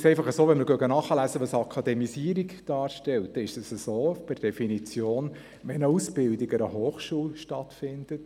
Wenn man nachliest, was Akademisierung ist, bedeutet das per Definition, dass es sich um einen akademischen Bildungsgang handelt, wenn eine Ausbildung an einer Hochschule stattfindet.